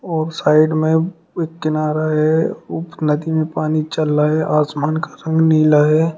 और साइड में एक किनारा है और नदी में पानी चल रहा है आसमान का रंग नीला है।